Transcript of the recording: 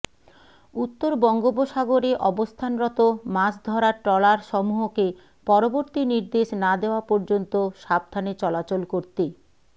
উত্তর বঙ্গোপসাগরে অবস্থানরত মাছ ধরার ট্রলারসমূহকে পরবর্তী নির্দেশ না দেয়া পর্যন্ত সাবধানে চলাচল করতে